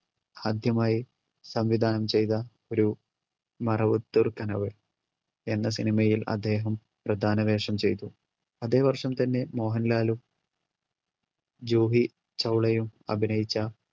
ആദ്യമായി സംവിധാനം ചെയ്ത ഒരു മറവത്തൂർ കനവ് എന്ന cinema യിൽ അദ്ദേഹം പ്രധാന വേഷം ചെയ്തു അതെ വർഷം തന്നെ മോഹൻലാലും ജൂഹി ചൗളയും അഭിനയിച്ച